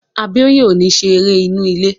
Abíóyè ò ní ṣe eré inú ilé